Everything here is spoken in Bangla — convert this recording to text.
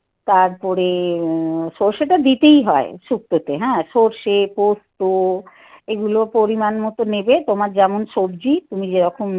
তারপরে সরষেটা দিতেই হয় শুক্তো তে হ্যাঁ সরষে পোস্ত এগুলো পরিমাণমতো নেবে তোমার যেমন সবজি যেরকম